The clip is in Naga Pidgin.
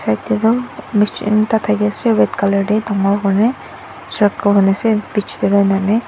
yate toh machine ekta thakiase red colour tae dangor kurina circle hona ase bich